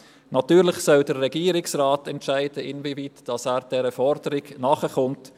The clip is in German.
Natürlich soll der Regierungsrat entscheiden, in wieweit er dieser Forderung nachkommt.